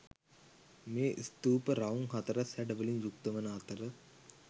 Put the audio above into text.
මේ ස්තූප රවුම් හතරැස් හැඩවලින් යුක්ත වන අතර